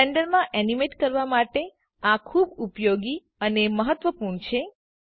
બ્લેન્ડરમાં animate કરવાં માટે આ ખુબ ઉપયોગી અને મહત્વપૂર્ણ છે